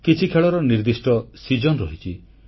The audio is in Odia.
କିଛି ଖେଳର ନିର୍ଦ୍ଦିଷ୍ଟ ଋତୁ ରହିଛି